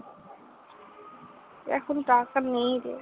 এখন টাকা নেই রে।